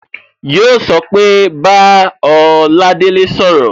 Yo so pé Bá Oladele sọ̀rọ̀